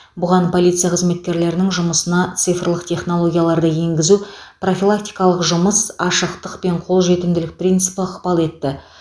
бұған полиция қызметкерлерінің жұмысына цифрлық технологияларды енгізу профилактикалық жұмыс ашықтық пен қолжетімділік принципі ықпал етті